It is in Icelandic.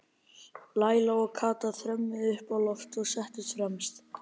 Lilla og Kata þrömmuðu upp á loft og settust fremst.